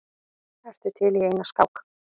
Ertu til í eina skák?